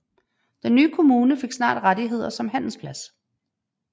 Den nye kommune fik snart rettigheder som handelsplads